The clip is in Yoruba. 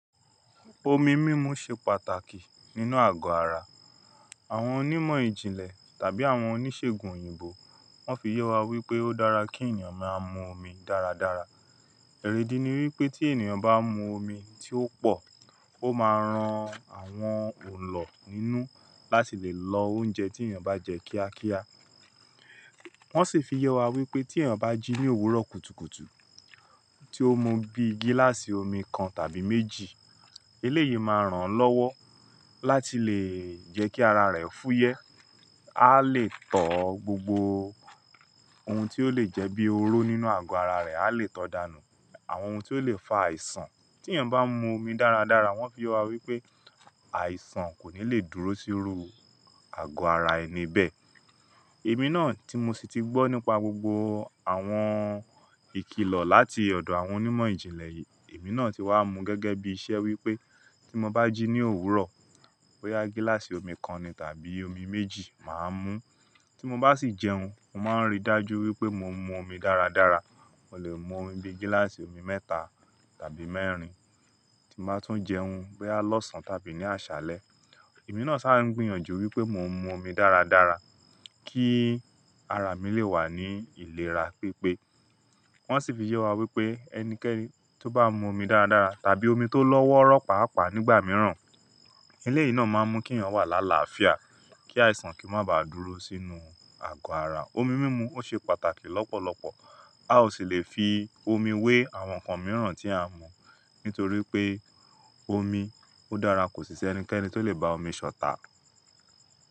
Omi mímu ṣe pàtàkì nínú àgọ́ ara. Àwọn onímọ̀ ìjìnlẹ̀ tàbí àwọn oníṣègùn òyìnbó, wọ́n fi yẹ wá wípé ó dára kí ènìyàn máa mu omi dáradára. Ẹ̀re di wípé tí ènìyàn bá mu omi tí ó pọ̀, ó máa ran àwọn ọ̀n lọ nínú láti lè lọ oúnjẹ tí ènìyàn bá jẹ kíákíá. Wọ́n sì fi yẹ wá wípé tí ènìyàn bá jí ní òwúrọ̀ kùtùkùtù tí ó mu bíi gíláàsì omi kan tàbí méjì, eléyìí máa ràn án lọ́wọ́ láti lè jẹ́ kí ara rẹ̀ fúyẹ́. A lè tọ́ gbogbo oun tí ó lè jẹ́ bíi oró nínú àgọ́ ara rẹ̀, a lè tọ́ dànù àwọn oun tí ó lè fa àìsàn. Tí ènìyàn bá mu omi dáradára, wọ́n fi wá wípé àìsàn kò ní lè dúró síru àgọ́ ara ẹni bẹ́ẹ̀. Èmi náà tí mo sì ti gbọ́ nípa gbogbo àwọn ìkìlọ̀ láti ọ̀dọ̀ àwọn onímọ̀ ìjìnlẹ̀ yìí, èmi náà ti wá mu gẹ́gẹ́ bí iṣẹ́ wípé tí mo bá jí ní òwúrọ̀, bóyá gíláàsì omi kan ni tàbí omi méjì màá mú. Tí mo bá sì jẹun, mo máa ń ríi dájú wípé mo ń mu omi dáradára. Mo lè mu omi bíi gíláàsì omi mẹ́ta tàbí mẹ́rin tí màá tún jẹun bóyá lọ́sàn tàbí ní àṣálẹ́. Èmi náà sáà ń gbìyànjú wípé mo ń mu omi dáradára kí ara mi lè wà ní ìlera pípé. Wọ́n sì fi yẹ wá wípé ẹnikẹ́ni tó bá mu omi dáradára tàbí omi tó lọ́wọ́rọ́ pàápàá nígbà mìíràn, ilé yìí náà máa ń mú kí ènìyàn wà lálaàfía, kí àìsàn kì í má ba à dúró sínú àgọ́ ara. Omi mímu ó ṣe pàtàkì lọ́pọ̀lọpọ̀. A ò sì lè fi omi wé àwọn nǹkan mìíràn tí à ń mu, nítorí pé omi ó dára, kò sì ṣẹ́ ẹnikẹ́ni tó lè ba omi ṣọ̀tá.